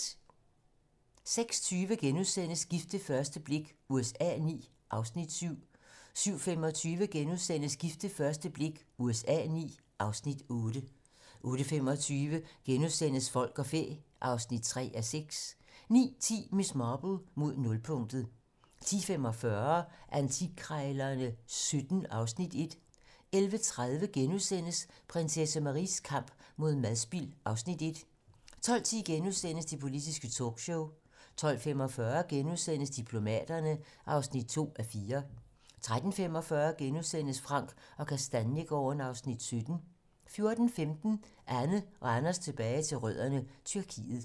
06:20: Gift ved første blik USA IX (Afs. 7)* 07:25: Gift ved første blik USA IX (Afs. 8)* 08:25: Folk og fæ (3:6)* 09:10: Miss Marple: Mod nulpunktet 10:45: Antikkrejlerne XVII (Afs. 1) 11:30: Prinsesse Maries kamp mod madspild (Afs. 1)* 12:10: Det politiske talkshow * 12:45: Diplomaterne (2:4)* 13:45: Frank & Kastaniegaarden (Afs. 17)* 14:15: Anne og Anders tilbage til rødderne: Tyrkiet